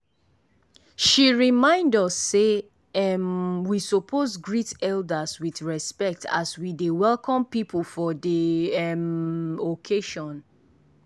she remind us sey um we suppose greet elders with respect as we dey welcome people for dey um occasion.